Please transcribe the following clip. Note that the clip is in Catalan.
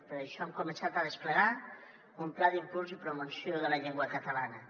per això hem començat a desplegar un pla d’impuls i promoció de la llengua catalana